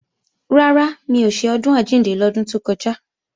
Rárá, mi ò ṣe Ọdún Àjíǹde lọ́dún tó kọjá